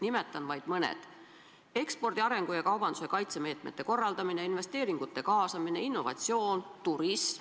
Nimetan vaid mõne: ekspordi arengu ja kaubanduse kaitsemeetmete korraldamine, investeeringute kaasamine, innovatsioon, turism.